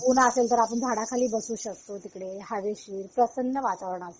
ऊन असेल तर आपण झाडाखाली बसू शकतो तिकडे हवेशीर प्रसन्न वातावरण असत